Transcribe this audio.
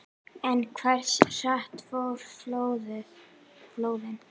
En hversu hratt fóru flóðin?